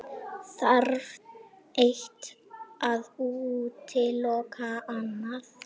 Þarf eitt að útiloka annað?